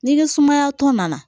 Ni ni sumaya tɔ nana